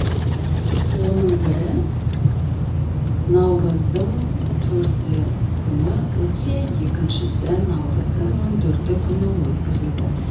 оның бірі наурыздың төрті күні өтсе екіншісі наурыздың он төрті күні өткізілді